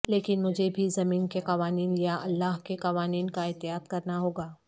لیکن مجھے بھی زمین کے قوانین یا اللہ کے قوانین کا اطاعت کرنا ہوگا